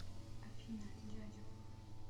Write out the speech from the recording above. афина дядя